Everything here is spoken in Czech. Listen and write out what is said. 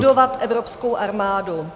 - budovat evropskou armádu.